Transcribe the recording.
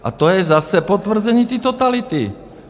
A to je zase potvrzení té totality.